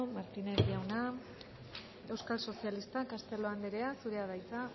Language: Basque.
martínez jauna euskal sozialistak castelo anderea zurea da hitza